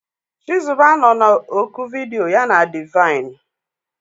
Chizuba nọ na oku vidiyo ya na Divine.